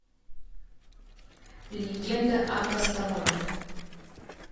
легенда о костоломе